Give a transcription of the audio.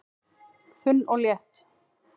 Þunn og létt